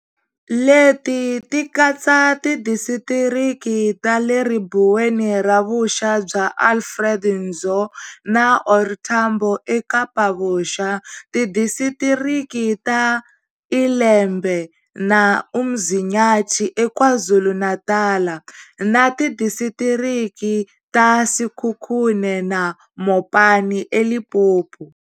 Leti tikatsa Tidisitiriki ta le Ribuweni ra Vuxa bya Alfred Nzo na OR Tambo eKapa-Vuxa, Tidisitiriki ta ILembe na uMzinyathi eKwaZulu-Natal, na Tidisitiriki ta Sekhukhune na Mopani eLimpopo.